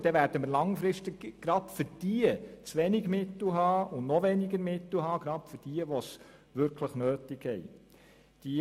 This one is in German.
Dann werden wir langfristig gerade für diejenigen zu wenig Mittel haben, die sie wirklich nötig haben.